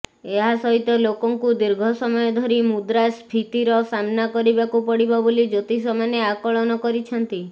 ଏହା ସହିତ ଲୋକଙ୍କୁ ଦୀର୍ଘ ସମୟଧରି ମୁଦ୍ରା ସ୍ଫୀତିର ସାମ୍ନା କରିବାକୁ ପଡ଼ିବ ବୋଲି ଜ୍ୟୋତିଷମାନେ ଆକଳନ କରିଛନ୍ତି